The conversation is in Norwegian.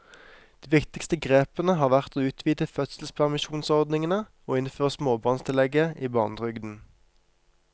De viktigste grepene har vært å utvide fødselspermisjonsordningene og innføre småbarnstillegget i barnetrygden.